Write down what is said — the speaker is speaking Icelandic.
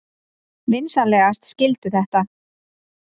Vinsamlegast skildu þetta.